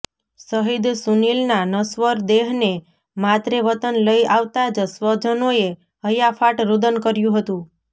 શહીદ સુનીલના નશ્વર દેહને માતરે વતન લઇ આવતા જ સ્વજનોએ હૈયાફાટ રૃદન કર્યું હતું